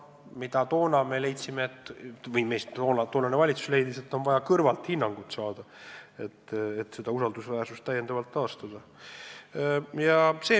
Toonane valitsus leidis, et on vaja kõrvalt hinnang saada, vaid nii saab usaldusväärsuse taastada.